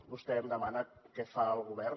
vostè em demana què fa el govern